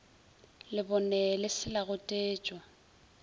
lebone le se la gotetšwa